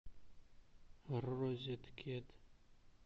розеткед